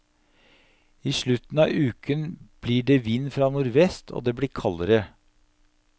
I slutten av uken blir det vind fra nordvest, og det blir kaldere.